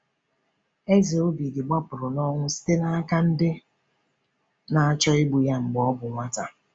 Eze Obidi gbapụrụ na ọnwụ site n’aka ndị na-achọ igbu ya mgbe ọ bụ nwata.